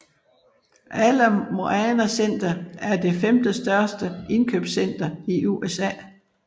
Ala Moana Center er det femtendestørste indkøbscenter i USA